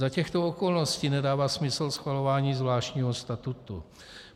Za těchto okolností nedává smysl schvalování zvláštního statutu.